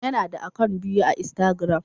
Ya na da akant biyu a instagram